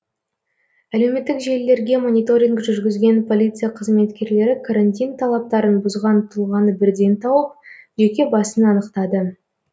әлеуметтік желілерге мониторинг жүргізген полиция қызметкерлері карантин талаптарын бұзған тұлғаны бірден тауып жеке басын анықтады